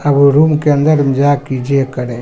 आब ऊ रूम के अंदर में जा के इ जे करे ।